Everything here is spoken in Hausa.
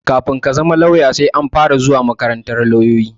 Kafin ka zama lauya, sai an fara zuwa makarantar lauloyi a Abuja.